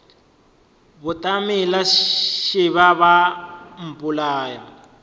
batamela šeba ba a mpolaya